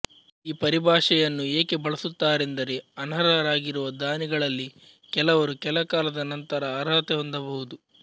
ಈ ಪರಿಭಾಷೆಯನ್ನು ಏಕೆ ಬಳಸುತ್ತಾರೆಂದರೆ ಅನರ್ಹರಾಗಿರುವ ದಾನಿಗಳಲ್ಲಿ ಕೆಲವರು ಕೆಲಕಾಲದ ನಂತರ ಅರ್ಹತೆ ಹೊಂದಬಹುದು